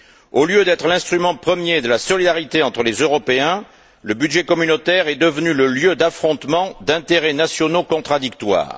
Au lieu d'être l'instrument premier de la solidarité entre les Européens, le budget communautaire est devenu le lieu d'affrontement d'intérêts nationaux contradictoires.